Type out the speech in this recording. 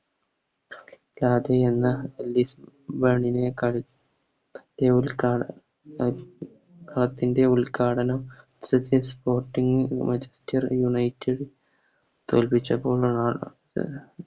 ൻറെ ഉദ്‌ഘാടനം Manchester united തോൽപ്പിച്ചപ്പോൾ അഹ്